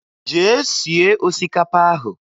Jee sie osikapa ahụ!